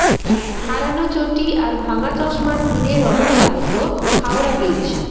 হারানো চটি আর ভাঙা চশমার ভিড়ে রণক্লান্ত হাওড়া ব্রিজ